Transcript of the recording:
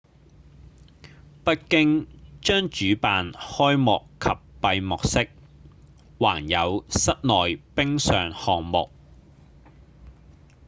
北京將主辦開幕及閉幕式還有室內冰上項目